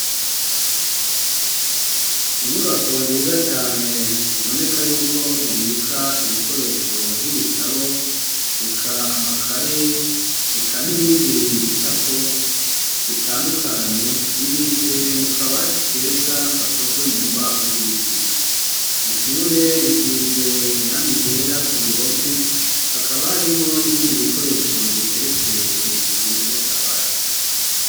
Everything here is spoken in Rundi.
Inyubako nziza cane iboneka yuko ibika ibikoresho nk'ibitabo eka amakaye eka n'ibindi bicapo bitandukanye bibitse mu kabati keza gakozwe mu mbaho z'ibiti ishure risize irangi ryera ku ruhome hakaba harimwo n'ibindi bikoresho biteretse hejuru y'akabati